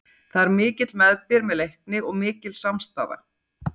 Það er mikill meðbyr með Leikni og mikil samstaða.